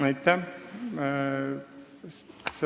Aitäh!